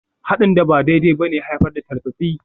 Haɗin da ba daidai ba ne ya haifar da tartsatsi.